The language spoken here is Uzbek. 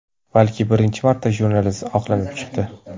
Balki birinchi marta jurnalist oqlanib chiqdi.